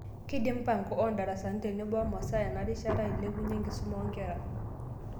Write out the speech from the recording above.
Keidim mpango oondarasani tenebo omasaa enarishata ailipunye enkisuma oonkera.